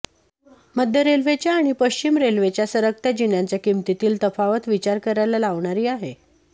मध्य रेल्वेच्या आणि पश्चिम रेल्वेच्या सरकत्या जिन्यांच्या किंमतीतील तफावत विचार करायला लावणारी आहे